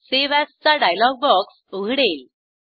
save as चा dialogue box उघडेल